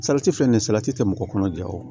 Salati filɛ nin salati tɛ mɔgɔ kɔnɔ ja o